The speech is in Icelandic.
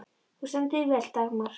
Þú stendur þig vel, Dagmar!